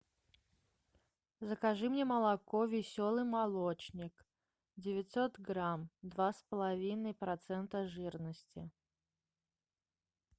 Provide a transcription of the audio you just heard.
закажи мне молоко веселый молочник девятьсот грамм два с половиной процента жирности